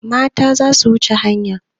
Mata za su wuce hanya.